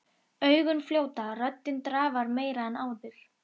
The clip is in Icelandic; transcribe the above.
Augun fljóta, röddin drafar meira en áður.